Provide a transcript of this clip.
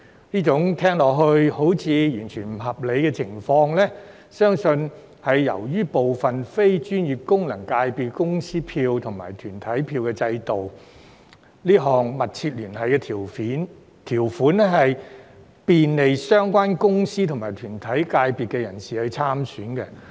這種聽來似乎不合理的情況，相信是由於對部分非專業功能界別的公司票及團體票制度，這項"密切聯繫"條款可便利相關公司或團體界別人士參選。